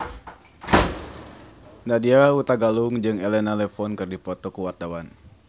Nadya Hutagalung jeung Elena Levon keur dipoto ku wartawan